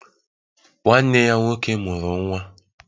..Nwanne ya nwoke mụrụ nwa